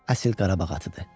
Əsil Qarabağ atıdır.